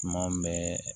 Tuma bɛɛ